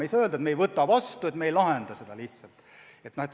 Ei saa öelda, et me ei võta taotlust vastu, et me seda lihtsalt ei lahenda.